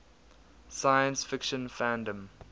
science fiction fandom